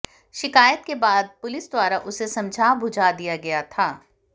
शिकायत के बाद पुलिस द्वारा उसे समझा बुझा दिया गया था